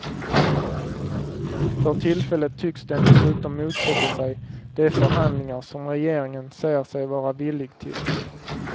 För tillfället tycks den dessutom motsätta sig de förhandlingar som regeringen säger sig vara villig till.